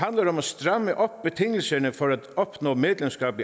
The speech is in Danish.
om at stramme op på betingelserne for at opnå medlemskab